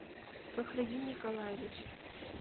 фахриддин николаевич